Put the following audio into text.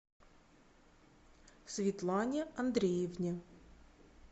светлане андреевне